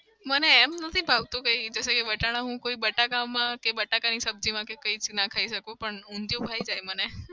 મને એમ નથી ભાવતું કંઈ વટાણા હું કોઈ બટાકામાં કે બટાકાની સબજીમાં કે કંઈક નંખાય જાય પણ ઊંધિયું ભાઈજાય મને